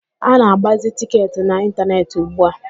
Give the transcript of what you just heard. A na-agbazi tịketị n'ịntaneetị ugbua.